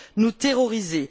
nous terroriser.